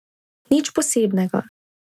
Nič posebnega.